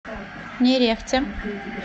нерехте